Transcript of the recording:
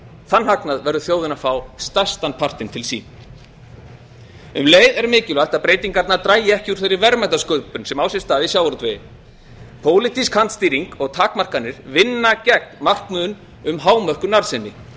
þann hagnað verður þjóðin að fá stærstan partinn til sín um leið er mikilvægt að breytingarnar dragi ekki úr þeirri verðmætasköpun sem á sér stað í sjávarútvegi pólitísk kantstýring og takmarkanir vinna gegn markmiðum um hámörkun